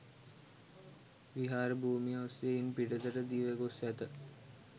විහාර භූමිය ඔස්‌සේ ඉන් පිටතට දිව ගොස්‌ ඇත.